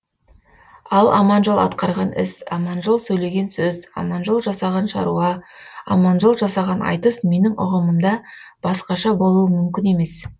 ал аманжол атқарған іс аманжол сөйлеген сөз аманжол жасаған шаруа аманжол жасаған айтыс менің ұғымымда басқаша болуы мүмкін емес